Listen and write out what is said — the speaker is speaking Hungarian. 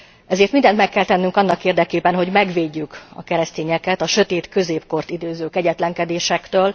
Ezért mindent meg kell tennünk annak érdekében, hogy megvédjük a keresztényeket a sötét középkort idéző kegyetlenkedésektől.